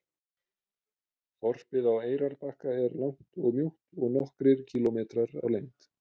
Þorpið á Eyrarbakka er langt og mjótt og nokkrir kílómetrar á lengd.